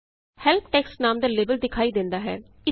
help text ਨਾਮ ਦਾ label ਦਿਖਾਈ ਦੇਂਦਾ ਹੈ